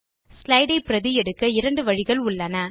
slide ஐ பிரதி எடுக்க இரண்டு வழிகள் உள்ளன